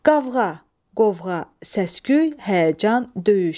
Qavğa, qovğa, səs-küy, həyəcan, döyüş.